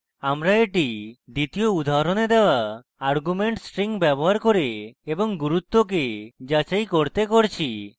আমরা এটি দ্বিতীয় উদাহরণে দেওয়া argument string ব্যবহার করে এবং গুরুত্বকে যাচাই করতে করছি